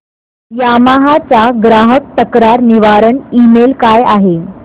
Yamaha चा ग्राहक तक्रार निवारण ईमेल काय आहे